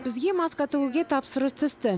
бізге маска тігуге тапсырыс түсті